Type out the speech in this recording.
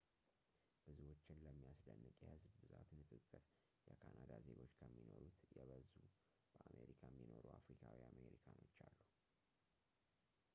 ብዙዎችን ለሚያስደንቅ የሕዝብ ብዛት ንፅፅር የካናዳ ዜጎች ከሚኖሩት የበዙ በአሜሪካ የሚኖሩ አፍሪካዊ አሜሪካኖች አሉ